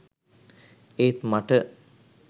ඒත් මට